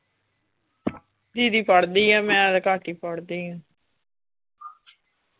ਦੀਦੀ ਪੜ੍ਹਦੀ ਆ ਮੈਂ ਤੇ ਘਟ ਹੀ ਪੜ੍ਹਦੀ ਆ .